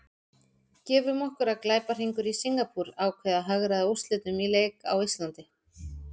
Gefum okkur að glæpahringur í Singapúr ákveði að hagræða úrslitum í leik á Íslandi.